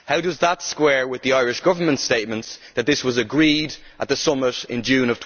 How does that square with the Irish Government's statements that this was agreed at the summit in June